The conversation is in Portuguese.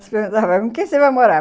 com quem você vai morar?